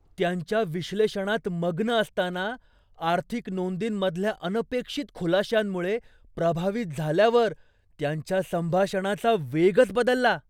त्यांच्या विश्लेषणात मग्न असताना, आर्थिक नोंदींमधल्या अनपेक्षित खुलाश्यांमुळे प्रभावित झाल्यावर त्यांच्या संभाषणाचा वेगच बदलला.